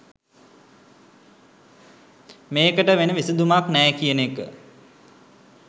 මේකට වෙන විසඳුමක් නෑ කියන එක.